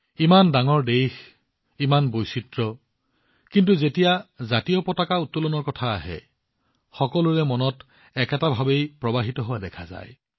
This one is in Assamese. ইমান ডাঙৰ দেশ ইমানবোৰ বৈচিত্ৰ্য কিন্তু যেতিয়া ত্ৰিৰংগা উত্তোলনৰ ক্ষেত্ৰত সকলোৰে অন্তৰত এটাই ভাৱনা প্ৰবাহিত হোৱা দেখা গল